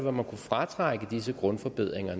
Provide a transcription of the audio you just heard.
at man kunne fratrække disse grundforbedringer